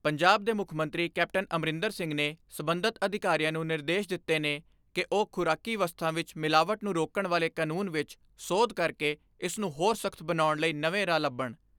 ਪੰਜਾਬ ਦੇ ਮੁੱਖ ਮੰਤਰੀ ਕੈਪਟਨ ਅਮਰਿੰਦਰ ਸਿੰਘ ਨੇ ਸਬੰਧਤ ਅਧਿਕਾਰੀਆਂ ਨੂੰ ਨਿਰਦੇਸ਼ ਦਿੱਤੇ ਨੇ ਕਿ ਉਹ ਖੁਰਾਕੀ ਵਸਤਾਂ ਵਿਚ ਮਿਲਾਵਟ ਨੂੰ ਰੋਕਣ ਵਾਲੇ ਕਾਨੂੰਨ ਵਿੱਚ ਸੋਧ ਕਰਕੇ ਇਸ ਨੂੰ ਹੋਰ ਸਖਤ ਬਣਾਉਣ ਲਈ ਨਵੇਂ ਰਾਹ ਲੱਭਣ।